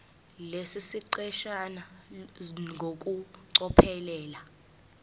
lesi siqeshana ngokucophelela